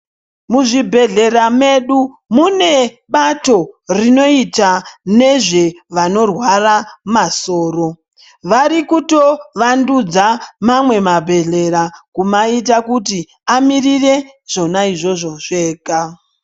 Mu zvibhehlera medu mune bato rinooita nezve vanorwara masoro varikuto wandudza mamwe ma bhedhlera kumaita kuti vamirire zvona izvozvo zvega.